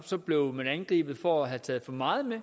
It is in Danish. blev angrebet for at have taget for meget med